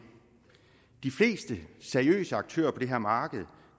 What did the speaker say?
de fleste seriøse aktører på det her marked